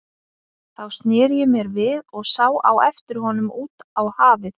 Þá sneri ég mér við og sá á eftir honum út á hafið.